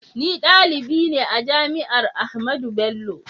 Ni dalibi ne a jami'ar Ahmadu Bello.